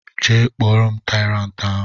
Jee kpọ m tyrant ahụ!!